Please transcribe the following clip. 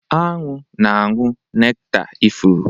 Anụ na-aṅụ nektar ifuru.